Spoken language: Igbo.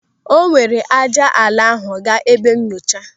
O were ájá ala ahụ gaa n'ebe nyochaa.